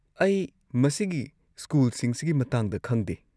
ꯑꯩ ꯃꯁꯤꯒꯤ ꯁ꯭ꯀꯨꯜꯁꯤꯡꯁꯤꯒꯤ ꯃꯇꯥꯡꯗ ꯈꯪꯗꯦ꯫